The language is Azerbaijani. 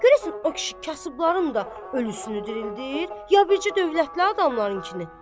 Görəsən o kişi kasıbların da ölüsünü dirildir, ya bircə dövlətli adamlarınkini?